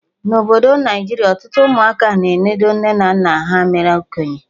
Na Obodo Naijiria, ọtụtụ ụmụaka na-enodo nne na nna ha mere okenye